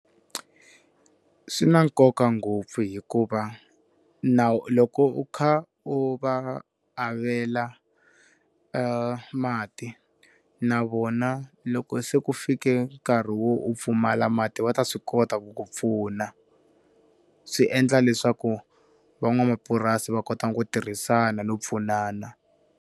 Swi na nkoka ngopfu hikuva loko u kha u va avela mati na vona loko se ku fike nkarhi wo u pfumala mati va ta swi kota ku ku pfuna, swi endla leswaku van'wamapurasi va kota ku tirhisana no pfunana.